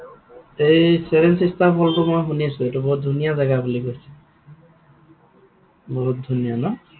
এই seven sister fall টো মই শুনিছো, এইটো বৰ ধুনীয়া জেগা বুলি কৈছে। বহুত ধুনীয়া ন?